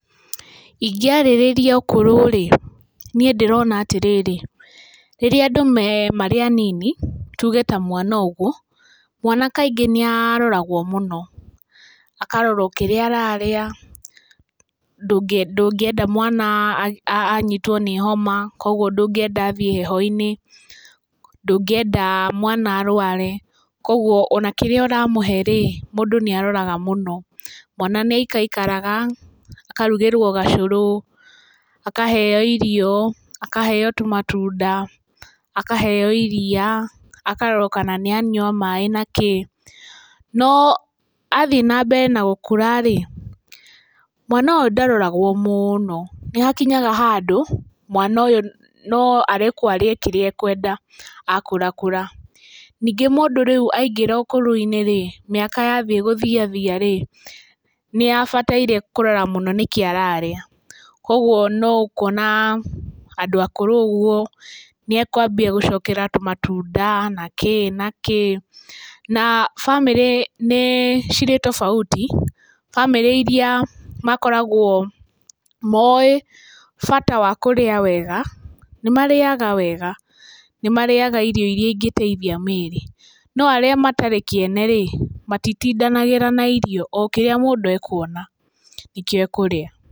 Ingĩarĩrĩria ũkũrũ rĩ, niĩ ndĩrona atĩrĩrĩ, rĩrĩa andũ marĩ anini tuge ta mwana ũguo, mwana kaingĩ nĩ aroragwo mũno. Akarorwo kĩrĩa ararĩa, ndũngĩenda mwana anyitwo nĩ homa, koguo ndũngĩenda athiĩ heho-inĩ, ndũngĩenda mwana arware, koguo ona kĩrĩa ũramũhe rĩ, mũndũ nĩ aroraga mũno. Mwana nĩ aikaikaraga akarugĩrwo gacũrũ, akaheo irio, akaheo tũmatunda, akaheo iria, akarorwo kana nĩ anyua maĩ na kĩ. No athiĩ na mbere na gũkũra rĩ, mwana ũyũ ndaroragwo mũno, nĩ hakinyaga handũ mwana ũyũ no arekwo arĩe kĩrĩa ekwenda a kũra kũra. Ningĩ mũndũ rĩu aingĩra ũkũrũ-inĩ rĩ, mĩaka yambia gũthiathia rĩ, nĩ abataire kũrora mũno nĩkĩĩ ararĩa. Koguo no ũkona andũ akũrũ ũguo nĩ ekwambia gũcokera tũmatunda na kĩ na kĩ. Na bamĩrĩ nĩ cirĩ tofauti, bamĩrĩ irĩa makoragwo moĩ bata wa kũrĩa wega nĩ marĩaga wega, nĩ marĩaga irio irĩa ingĩteithia mĩĩrĩ. No arĩa matarĩ kĩene rĩ matitindanagĩra na irio, o kĩrĩa mũndũ ekuona nĩkĩo ekũrĩa.